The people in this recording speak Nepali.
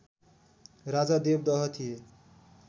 राजा देवदह थिए